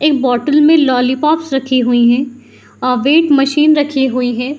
एक बोटल मे लोलीपॉप्स रखी हुए हैं। अ वेट मशीन रखी हुई है|